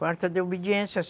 Falta de obediência.